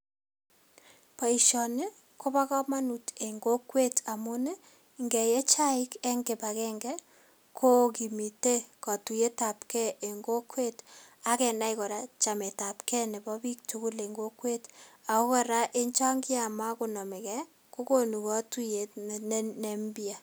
Boisioni ko bo kamanuut en kokwet amuun ii ngeye chaik en kibangengei ko kokimite katuyeet ab gei en kokwet ak ge nai kora chemetab gei ne biik tugul en kokwet ago kora en chaan kiamagonamegei kora kokonuu katuyeet ne mpya